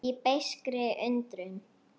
Í beiskri undrun.